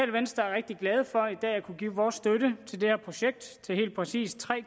glade for at kunne give vores støtte til det her projekt til helt præcis tre